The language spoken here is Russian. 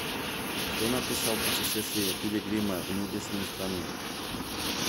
кто написал путешествие пилигрима в небесную страну